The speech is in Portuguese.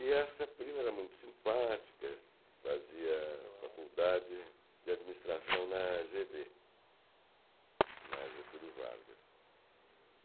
E essa prima era muito simpática, fazia faculdade de administração na FGV, na Getúlio Vargas.